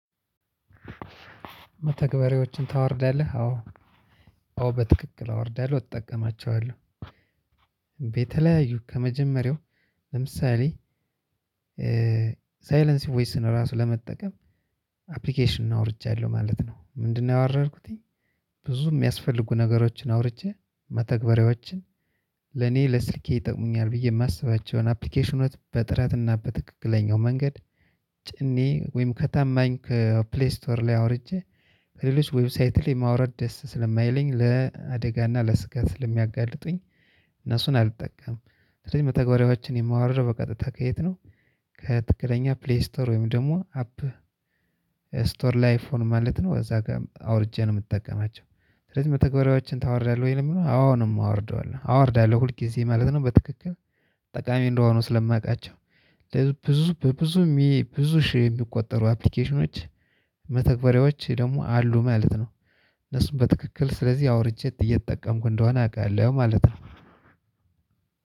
መተግበሪያዎችን ታወርዳለህ አዎ አዎ በትክክል አወርዳለሁ እጠቀማቸዋለሁ የተለያዩ ከመጀመሪያው ለምሳሌ ሳይለሲዬ ቮይስን ራሱ ለመጠቀም አፕሊኬሽን አውርጃለሁ ማለት ነው። ምንድነው? ያወረድኩት ብዙ ሚያስፈልጉ ነገሮችን አውርጄ መተግበሪያዎች ለኔ ለስልኬ ይጠቅሙኛል። ብዬ ማስባቸውን አፕሊኬሽኖች በጥራት እና በትክክለኛው መንገድ ጭኜ ወይም ከታማኝ ከፕሌይ ስቶር ላይ አውርጄ ከሌሎች ዌብሳይት ላይ ማውረድ ደስ ስለማይለኝ ለአደጋ እና ለስጋ ስለሚያጋልጡኝ። እነሱን አልጠቀምም። ስለዚህ መተግበሪያዎችን የማወርደው በቀጥታ ከየት ነው? ከትክክለኛ ፕሌይ ስቶር ወይም ደግሞ አፕል ስቶር ለአይፎን ማለት ነው እዛ ጋር አውርጄ ነው ምጠቀማቸው። ስለዚህ መተግበሪያዎችን ታወርዳለህ ወይ? ለሚለው አዎ ነው አወርደዋለሁ አወርዳለው ሁልጊዜ ማለት ነው። በትክክል ጠቃሚ እንደሆኑ ስለማውቃቸው ብዙ በብዙ ብዙ ሺህ የሚቆጠሩ አፕሊኬሽኖች መተግበሪያዎች ደግሞ አሉ ማለት ነው። እነሱን በትክክል ስለዚህ አውርጄ እየተጠቀምኩ እንደሆነ አውቃለሁ ማለት ነው።